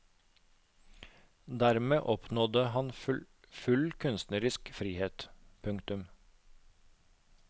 Dermed oppnådde han full kunstnerisk frihet. punktum